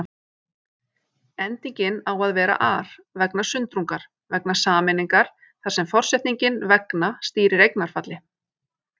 Endingin á að vera-ar, vegna sundrungar, vegna sameiningar þar sem forsetningin vegna stýrir eignarfalli.